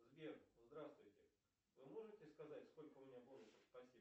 сбер здравствуйте вы можете сказать сколько у меня бонусов спасибо